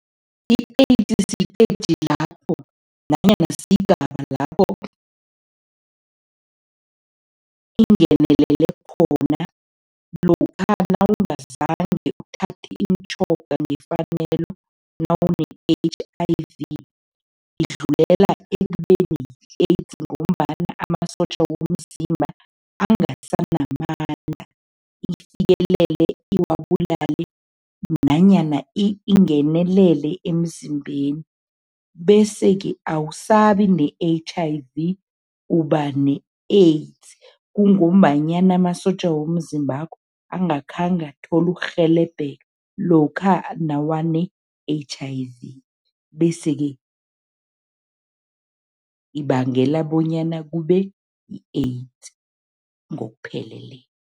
I-AIDS siteji lapho nanyana sigaba lapho ingenelele khona lokha nawungazange uthathe imitjhoga ngefanelo nawune-H_I_V, idlulela ekubeni yi-AIDS ngombana amasotja womzimba angasanamandla, ifikele iwabulale nanyana ingenelele emzimbeni bese-ke awusabi ne-H_I_V uba ne-AIDS. Kungombanyana amasotja womzimbakho angakhange athole ukurhelebheka lokha nawane-H_I_V bese-ke ibangela bonyana kube yi-AIDS ngokuphelele.